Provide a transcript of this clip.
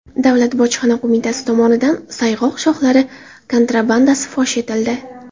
Davlat bojxona qo‘mitasi tomonidan sayg‘oq shoxlari kontrabandasi fosh etildi.